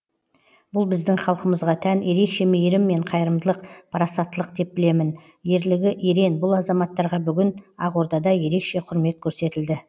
бұл біздің халқымызға тән ерекше мейірім мен қайырымдылық парасаттылық деп білемін ерлігі ерен бұл азаматтарға бүгін ақордада ерекше құрмет көрсетілді